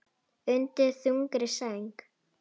Undir þungri sæng